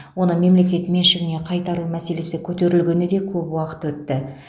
оны мемлекет меншігіне қайтару мәселесі көтерілгеніне де көп уақыт өтті